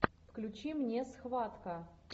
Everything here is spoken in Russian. включи мне схватка